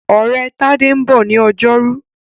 Ọ̀rẹ́ Tádé ń bọ̀ ní ọjọ́rú.